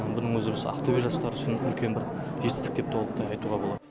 мұның өзі осы ақтөбе жастары үшін үлкен бір жетістік деп толықтай айтуға болады